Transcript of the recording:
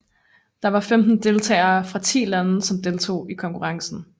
Der var femten deltagere fra ti lande som deltog i konkurrencen